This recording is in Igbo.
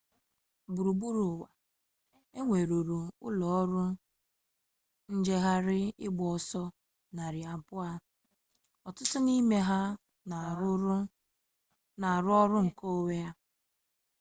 gburugburu ụwa e nweruru ụlọọrụ njegharị ịgba ọsọ narị abụọ ọtụtụ n'ime ha na-arụ ọrụ nke onwe